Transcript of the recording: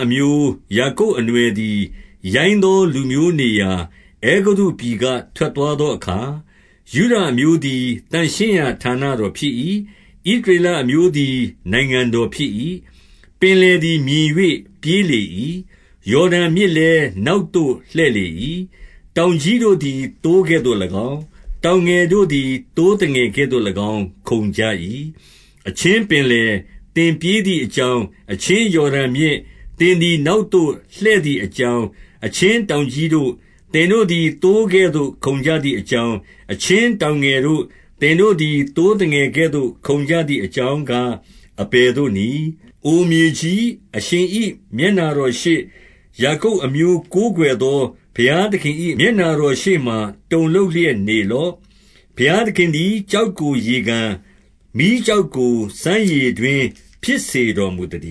အမျိုး၊ ယာကုပ်အနွှယ်သည် ရိုင်း သောလူမျိုးနေရာ အဲဂုတ္တုပြည်က ထွက်သွားသောအခါ၊ ယုဒအမျိုးသည် သန့်ရှင်းရာဌာနတော်ဖြစ်၏။ ဣသရေလအမျိုးသည် နိုင်ငံတော်ဖြစ်၏။ ပင်လယ်သည် မြင်၍ပြေးလေ၏။ ယော်ဒန်မြစ် လည်း နောက်သို့ လှည့်လေ၏။ တောင်ကြီးတို့သည် သိုးကဲ့သို့၎င်း၊ တောင်ငယ်တို့သည် သိုးသငယ်ကဲ့သို့၎င်း ခုန်ကြ၏။ အချင်းပင်လယ်၊ သင်ပြေးသည် အ ကြောင်း၊ အချင်းယော်ဒန်မြစ်၊ သင်သည် နောက်သို့လှည့် သည်အကြောင်း၊ အချင်းတောင်ကြီးတို့၊ သင်တို့သည် သိုးကဲ့သို့ ခုန်ကြသည်အကြောင်း၊ အချင်းတောင်ငယ်တို့၊ သင်တို့ သည် သိုးသငယ်ကဲ့သို့ ခုန်ကြသည် အကြောင်းကား အဘယ်သို့နည်း။ အိုမြေကြီး၊ အရှင်၏မျက်နှာတော်ရှေ့၊ ယာကုပ် အမျိုးကိုးကွယ်သော ဘုရားသခင်၏ မျက်နှာတော်ရှေ့မှာ တုန်လှုပ်လျက်နေလော့။ ဘုရားသခင်သည် ကျောက်ကို ရေကန်၊ မီးကျောက်ကို စမ်းရေတွင်းဖြစ်စေတော်မူသတ